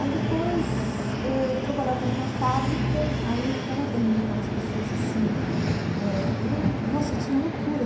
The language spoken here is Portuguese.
Aí depois eh eu trabalhava numa fábrica, aí eu ficava vendo aquelas pessoas assim eh eu... Nossa, eu tinha loucura.